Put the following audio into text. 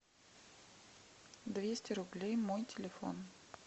двести рублей мой телефон